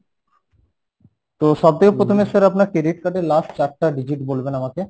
তো সবথেকে প্রথমে sir আপনার credit card এর last চারটা digit বলবেন আমাকে